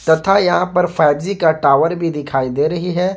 तथा यहां पर फाइव जी का टावर भी दिखाई दे रही है।